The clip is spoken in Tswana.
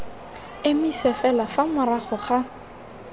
emise fela fa morago ga